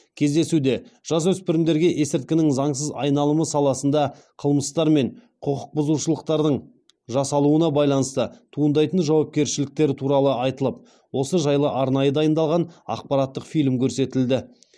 кездесуде жасөспірімдерге есірткінің заңсыз айналымы саласында қылмыстар мен құқық бұзушылықтардың жасалуына байланысты туындайтын жауапкершіліктер туралы айтылып осы жайлы арнайы дайындалған ақпараттық фильм көрсетілді